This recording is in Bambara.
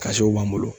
b'an bolo